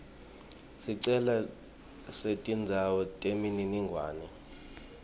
sicelo setindzawo temininingwane